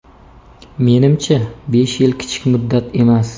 Menimcha, besh yil kichik muddat emas.